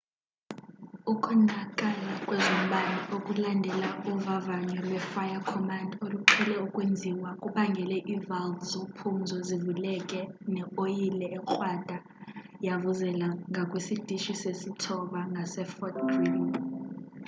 ukonakala kwezombane okulandela uvavanyo lwe-fire-command oluqhele ukwenziwa kubangele ii-valve zophumzo zivuleke ne oyile ekrwada yavuzela ngakwisitishi sesi-9 ngase-fort greely